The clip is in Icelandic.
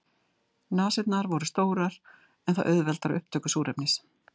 Nasirnar voru stórar en það auðveldar upptöku súrefnis.